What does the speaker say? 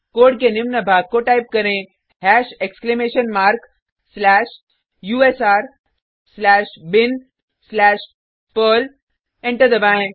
code के निम्न भाग को टाइप करें hash exclamation mark slash U S R slash bin slash perl enter दबाएँ